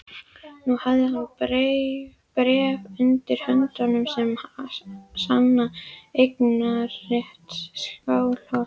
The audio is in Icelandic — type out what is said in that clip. Nú hafði hann bréf undir höndum sem sannaði eignarrétt Skálholts.